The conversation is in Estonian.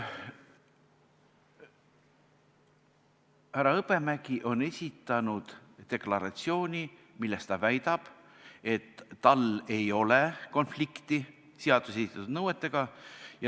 Härra Hõbemägi on esitanud deklaratsiooni, milles ta väidab, et tal ei ole konflikti seaduses esitatud nõuetega.